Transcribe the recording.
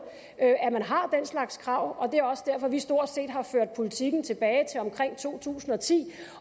at man har den slags krav det er også derfor vi stort set har ført politikken tilbage til omkring to tusind og ti